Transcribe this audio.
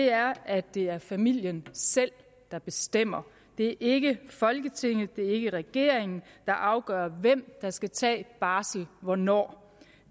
er at det er familien selv der bestemmer det er ikke folketinget og det er ikke regeringen der afgør hvem der skal tage barsel hvornår